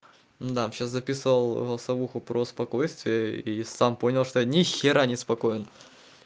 да сейчас записал голосовуху про спокойствие и сам понял что нихера не спокоен